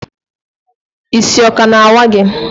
Isi o ka na awa gi?